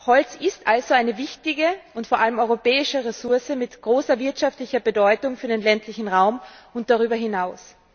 Holz ist also eine wichtige und vor allem europäische Ressource mit großer wirtschaftlicher Bedeutung für den ländlichen Raum und darüber hinaus.